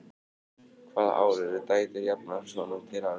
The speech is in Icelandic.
hvaða ár urðu dætur jafnar sonum til arfs